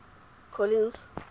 collins